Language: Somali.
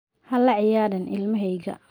Ha la ciyaarin ilmahayga.